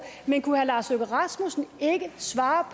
men kunne herre lars løkke rasmussen ikke svare